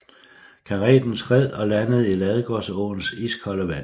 Kareten skred og landede i Ladegårdsåens iskolde vand